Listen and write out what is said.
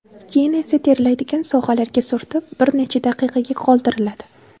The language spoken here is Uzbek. Keyin esa terlaydigan sohalarga surtib, bir necha daqiqaga qoldiriladi.